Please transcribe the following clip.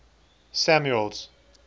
samuel's